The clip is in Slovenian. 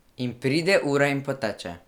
In pride ura in poteče.